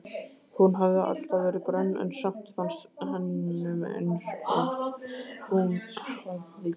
Hún hafði alltaf verið grönn en samt fannst honum eins og hún hefði lést.